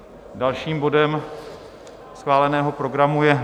Dalším bodem schváleného programu je